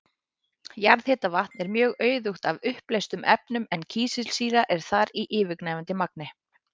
Jarðhitavatn er mjög auðugt af uppleystum efnum en kísilsýra er þar í yfirgnæfandi magni.